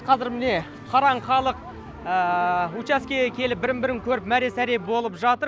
қазір міне қараң халық учаскеге келіп бірін бірін көріп мәре сәре болып жатыр